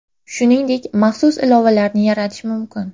Shuningdek, maxsus ilovalarni yaratish mumkin.